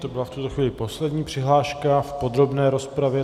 To byla v tuto chvíli poslední přihláška v podrobné rozpravě.